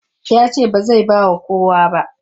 Ya ce ba zai ba wa kowa ba.